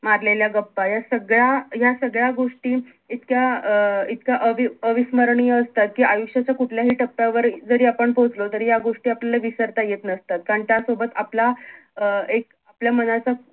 मारलेल्या गप्पा या सगळ्या या सगळ्या गोष्टी इतक्या अं इतक्या अवी अविस्मरणीय असतात कि आयुष्याच्या कुठल्याही टप्यावर जरी आपण पोहोचलो तरी या गोष्टी आपल्याला विसरता येत नसतात कारण त्या सोबत आपला अं एक आपल्या मनाचा